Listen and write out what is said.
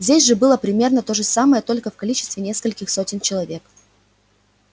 здесь же было примерно то же самое только в количестве нескольких сотен человек